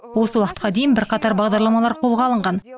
осы уақытқа дейін де бірқатар бағдарламалар қолға алынған